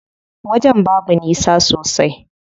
Wajen babu nisa sosai.